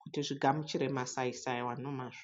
kuti zvigamuchire masaisai awa nemazvo.